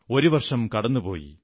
ഒരു വർഷം കടന്നുപോയി